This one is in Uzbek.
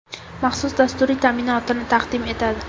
maxsus dasturiy ta’minotini taqdim etadi.